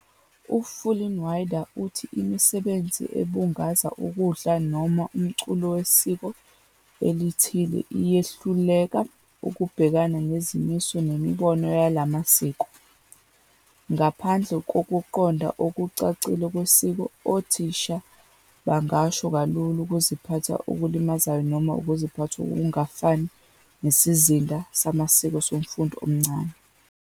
U-Fullinwider uthi imisebenzi ebungaza ukudla noma umculo wesiko elithile iyehluleka ukubhekana nezimiso nemibono yala masiko.. Ngaphandle kokuqonda okucacile kwesiko, othisha bangasho kalula ukuziphatha okulimazayo noma ukuziphatha okungafani nesizinda samasiko somfundi omncane.